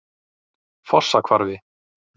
Fossahvarfi